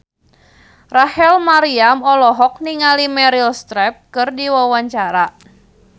Rachel Maryam olohok ningali Meryl Streep keur diwawancara